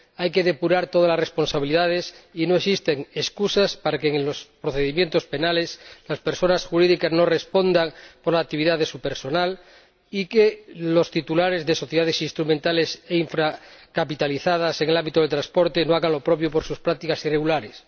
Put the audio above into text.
Hay que depurar todas las responsabilidades y no existen excusas para que en los procedimientos penales las personas jurídicas no respondan por la actividad de su personal ni para que los titulares de sociedades instrumentales e infracapitalizadas en el ámbito del transporte no hagan lo propio por sus prácticas irregulares.